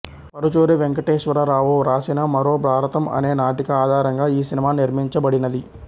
పరుచూరి వెంకటేశ్వర రావు వ్రాసిన మరో భారతం అనే నాటిక ఆధారంగా ఈ సినిమా నిర్మించ బడినది